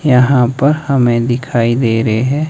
यहां पर हमे दिखाई दे रहे है।